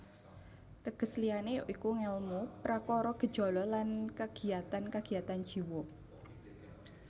Teges liyané ya iku ngèlmu prakara gejala lan kagiatan kagiatan jiwa